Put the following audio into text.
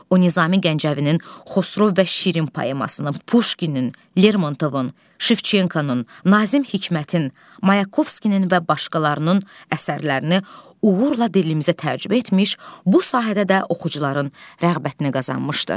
O Nizami Gəncəvinin Xosrov və Şirin poemasının, Puşkinin, Lermontovun, Şevçenkonun, Nazim Hikmətin, Mayakovskinin və başqalarının əsərlərini uğurla dilimizə tərcümə etmiş, bu sahədə də oxucuların rəğbətini qazanmışdı.